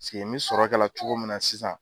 Se ke n bi sɔrɔ kɛla cogo min na sisan.